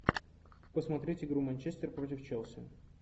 посмотреть игру манчестер против челси